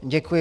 Děkuji.